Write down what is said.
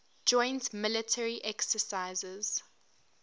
joint military exercises